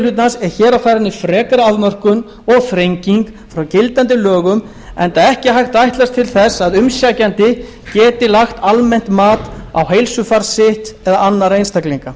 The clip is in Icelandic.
hlutans er hér á ferðinni frekari afmörkun og þrenging frá gildandi lögum enda ekki hægt að ætlast til að umsækjandi geti lagt almennt mat á heilsufar sitt eða annarra einstaklinga